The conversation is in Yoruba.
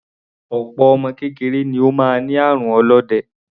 Opo ọmọ kékeré ni ó máa ń ní àrùn olóde.